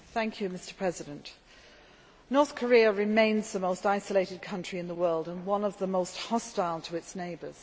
Mr President, North Korea remains the most isolated country in the world and one of the most hostile to its neighbours.